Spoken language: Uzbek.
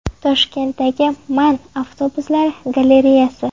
Toshkentdagi MAN avtobuslari galereyasi.